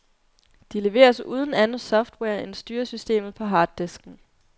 De leveres uden anden software end styresystemet på harddisken.